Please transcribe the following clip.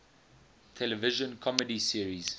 television comedy series